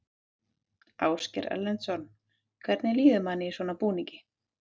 Ásgeir Erlendsson: Hvernig líður manni í svona búning?